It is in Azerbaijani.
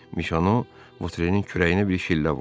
Mişono Votrenin kürəyinə bir şillə vurdu.